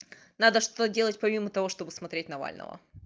надо что-то делать помимо того чтобы смотреть навального